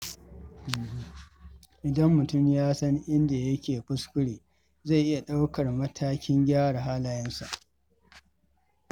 Idan mutum ya san inda yake kuskure, zai iya ɗaukar matakin gyara halayensa.